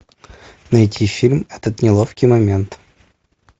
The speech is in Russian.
найти фильм этот неловкий момент